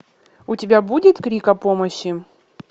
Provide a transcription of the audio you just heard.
у тебя будет крик о помощи